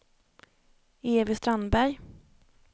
Evy Strandberg